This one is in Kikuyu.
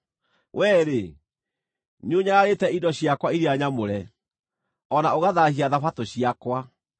Wee-rĩ, nĩũnyararĩte indo ciakwa iria nyamũre, o na ũgathaahia Thabatũ ciakwa.